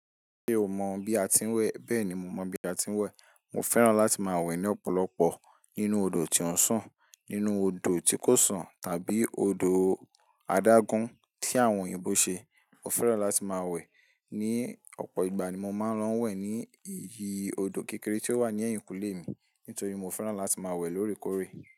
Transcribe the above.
Ṣé o mọ bí a ti ń wẹ̀? Bẹ́ẹ̀ ni mo mọ bí a ti ń wẹ̀. Mo fẹ́ràn láti máa wẹ̀ ní ọ̀pọ̀lọpọ̀ nínú odò tí ó ń sàn, nínú odò tí kò sàn tàbí odò adágún tí àwọn òyìnbó ṣe. Mo fẹ́ràn láti máa wẹ̀. Ni ọ̀pọ̀ ìgbà ni mo máa ń lọ wẹ̀ ní eyí odò kékeré tí ó wà ní ẹ̀yìnkùlé mi, nítorí mo fẹ́ràn láti máa wẹ̀ lóòrèkóòrè.